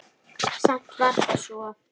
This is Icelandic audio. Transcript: Samt var það svo.